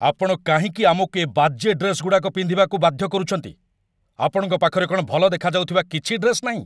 ଆପଣ କାହିଁକି ଆମକୁ ଏ ବାଜେ ଡ୍ରେସ୍‌ଗୁଡ଼ାକ ପିନ୍ଧିବାକୁ ବାଧ୍ୟ କରୁଚନ୍ତି? ଆପଣଙ୍କ ପାଖରେ କ'ଣ ଭଲ ଦେଖାଯାଉଥିବା କିଛି ଡ୍ରେସ୍ ନାହିଁ?